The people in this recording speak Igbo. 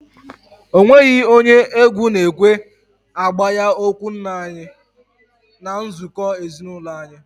Ọ nweghị onye egwu na ekwe agbaha okwu nna anyị n'nzuko ezinaụlọ anyi